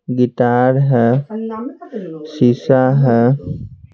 Guitar है शीशा है ।